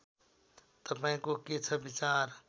तपाईँको के छ विचार